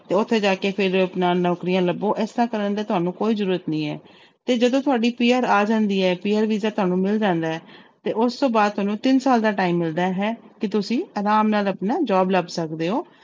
ਤੇ ਉੱਥੇ ਜਾ ਕੇ ਫਿਰ ਆਪਣਾ ਨੌਕਰੀਆਂ ਲੱਭੋ ਇਸ ਤਰ੍ਹਾਂ ਕਰਨ ਦੀ ਤੁਹਾਨੂੰ ਕੋਈ ਜ਼ਰੂਰਤ ਨਹੀਂ ਹੈ ਤੇ ਜਦੋਂ ਤੁਹਾਡੀ PR ਆ ਜਾਂਦੀ ਹੈ PR ਵੀਜ਼ਾ ਤੁਹਾਨੂੰ ਮਿਲ ਜਾਂਦਾ ਹੈ ਤੇ ਉਸ ਤੋਂ ਬਾਅਦ ਤੁਹਾਨੂੰ ਤਿੰਨ ਸਾਲ ਦਾ time ਮਿਲਦਾ ਹੈ ਕਿ ਤੁਸੀਂ ਆਰਾਮ ਨਾਲ ਆਪਣਾ job ਲੱਭ ਸਕਦੇ ਹੋ।